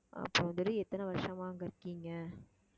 அப்புறம் எத்தனை வருஷமா அங்க இருக்கீங்க